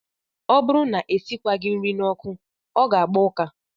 Ọ bụrụ na e sikwaghị nri n'ọkụ, ọ ga-agba ụka